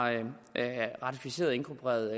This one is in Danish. ratificeret og inkorporeret